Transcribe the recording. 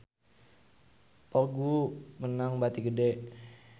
Vogue meunang bati gede